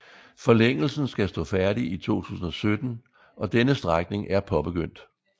Forlængelsen skal stå færdig i 2017 og denne strækning er påbegyndt